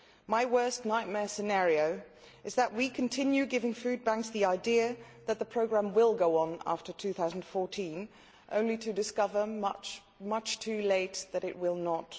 My worst nightmare scenario is that we continue giving food banks the idea that the programme will go on after 2014, only to discover much too late that it will not.